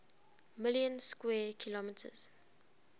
million square kilometres